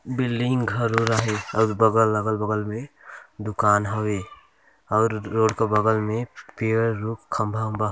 building घर ओर आहे और बगल अगल बगल मे दुकान हवे और रोड के बगल में पेड़ रुख खंबा उंबा --